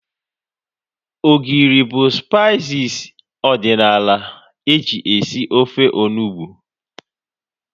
Ogiri bụ spaiis ọdịnala eji esi ofe onugbu